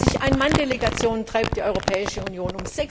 36 Ein Mann Delegationen unterhält die Europäische Union.